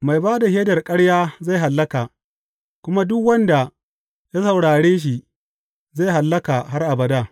Mai ba da shaidar ƙarya zai hallaka, kuma duk wanda ya saurare shi zai hallaka har abada.